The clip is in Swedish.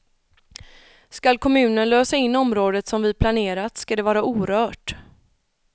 Skall kommunen lösa in området som vi planerat skall det vara orört.